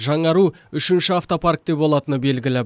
жаңару үшінші автопаркте болатыны белгілі